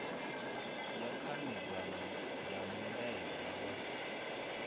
ya khanedzano ya mulaedza wa